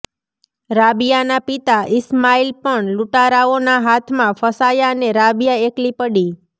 રાબિયાના પિતા ઈસ્માઈલ પણ લૂંટારાઓના હાથમાં ફસાયા ને રાબિયા એકલી પડી